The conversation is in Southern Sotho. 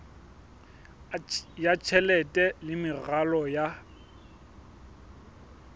ya tjhelete le meralo ya